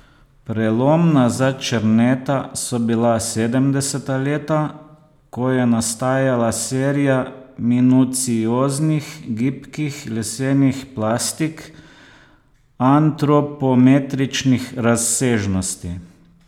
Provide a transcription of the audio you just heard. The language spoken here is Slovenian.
Prelomna za Černeta so bila sedemdeseta leta, ko je nastajala serija minucioznih, gibkih lesenih plastik antropometričnih razsežnosti.